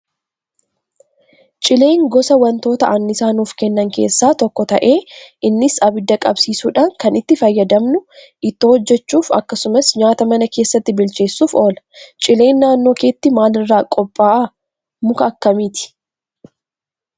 Cileen gosa wantoota anniisaa nuuf kennan keessaa tokko ta'ee innis abidda qabsiisuudhaan kan itti fayyadamnu ittoo hojjachuuf akkasumas nyaata mana keessatti bilcheessuuf oola. Cileen naannoo keetti maalirraa qophaa'a muka akkamiiti?